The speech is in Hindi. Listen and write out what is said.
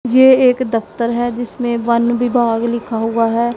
ये एक दफ्तर है जिसमें वन विभाग लिखा हुआ है।